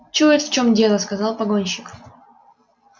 чует в чём дело сказал погонщик